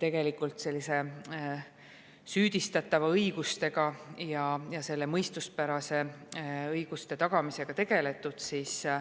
tegelikult süüdistatava mõistuspäraste õiguste tagamisega tegeletud.